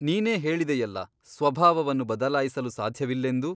ನೀನೇ ಹೇಳಿದೆಯಲ್ಲ ಸ್ವಭಾವವನ್ನು ಬದಲಾಯಿಸಲು ಸಾಧ್ಯವಿಲ್ಲೆಂದು ?